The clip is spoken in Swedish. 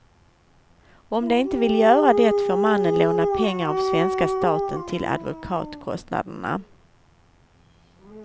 Om de inte vill göra det får mannen låna pengar av svenska staten till advokatkostnaderna.